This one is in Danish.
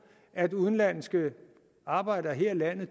at udenlandske arbejdere her i landet